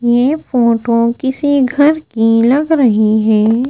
ये फोटो किसी घर की लग रही है।